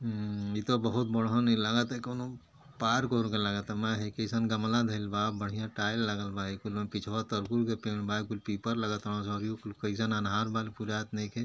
उम्म इ त बहुत बड़हन ई लागता कौनों पार्क ओरक लागत बा। मे कइसन गमला धइल बा। बढ़िया टाइल लागल बा। पिछवा तरकुल के पेड़ बा। ऊ पीपर लागत ह। एजाज अन्हार बा पुरात नइखे।